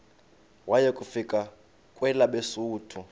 waya kufika kwelabesuthu